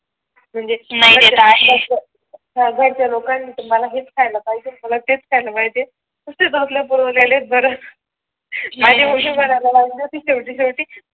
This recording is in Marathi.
म्हणजे नाही आहे. घरच्या लोकांनी तुम्हाला हेच खायला पाहिजे तेच खायला पाहिजे नुसते चोचले पुरवलेले बर शेवटी शेवटी